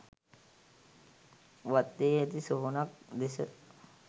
වත්තේ ඇති සොහොනක් දෙස